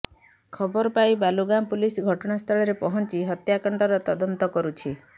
ଖବର ପାଇ ବାଲୁଗାଁ ପୋଲିସ ଘଟଣାସ୍ଥଳରେ ପହଞ୍ଚି ହତ୍ୟାକାଣ୍ଡର ତଦନ୍ତ କରୁଛି